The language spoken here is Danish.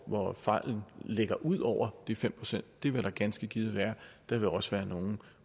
hvor fejlen ligger ud over de fem procent det vil der ganske givet være der vil også være nogle